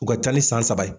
U ka ca ni san saba ye